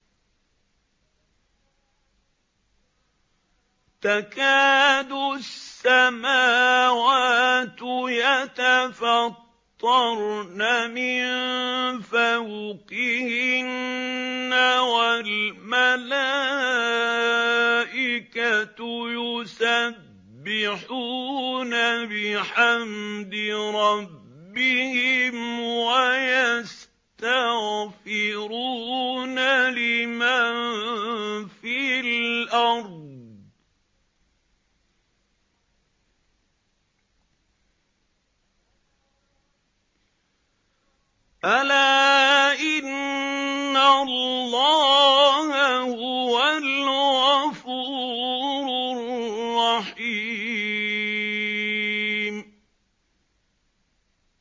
تَكَادُ السَّمَاوَاتُ يَتَفَطَّرْنَ مِن فَوْقِهِنَّ ۚ وَالْمَلَائِكَةُ يُسَبِّحُونَ بِحَمْدِ رَبِّهِمْ وَيَسْتَغْفِرُونَ لِمَن فِي الْأَرْضِ ۗ أَلَا إِنَّ اللَّهَ هُوَ الْغَفُورُ الرَّحِيمُ